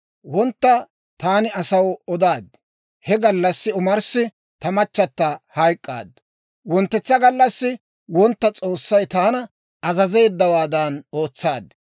Wontta taani asaw odaad; he gallassi omarssi ta machchata hayk'k'aaddu. Wonttetsa gallassi wontta S'oossay taana azazeeddawaadan ootsaad.